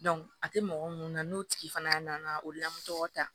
a tɛ mɔgɔ mun na n'o tigi fana nana o la tɔgɔ ta